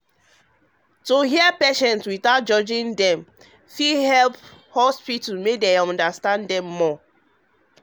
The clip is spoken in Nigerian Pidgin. to hear patients without judging um dem dey help make hospital understand make hospital understand dem more.